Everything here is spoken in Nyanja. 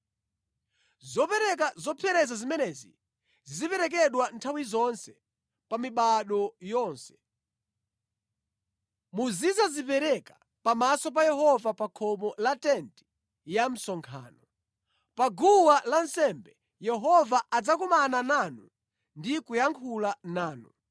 “Zopereka zopsereza zimenezi ziziperekedwa nthawi zonse, pa mibado yonse. Muzidzazipereka pamaso pa Yehova pa khomo la tenti ya msonkhano. Pa guwa lansembe, Yehova adzakumana nanu ndi kuyankhula nanu.